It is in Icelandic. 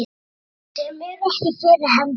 Sem eru ekki fyrir hendi.